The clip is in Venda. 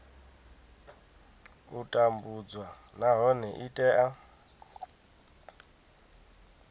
u tambudzwa nahone i tea